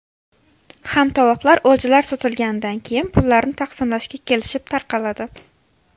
Hamtovoqlar o‘ljalar sotilganidan keyin pullarni taqsimlashga kelishib tarqaladi”.